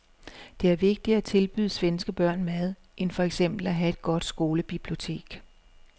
Det er vigtigere at tilbyde svenske børn mad end for eksempel at have et godt skolebibliotek.